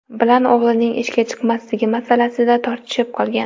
bilan o‘g‘lining ishga chiqmasligi masalasida tortishib qolgan.